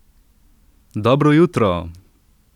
Dobro jutro!